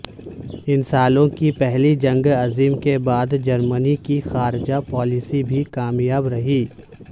ان سالوں کی پہلی جنگ عظیم کے بعد جرمنی کی خارجہ پالیسی بھی کامیاب رہی